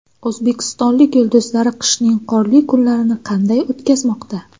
O‘zbekistonlik yulduzlar qishning qorli kunlarini qanday o‘tkazmoqda?.